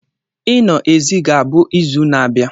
Ino ezi ga-abụ izu na-abịa.